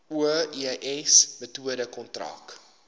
oes metode kontrak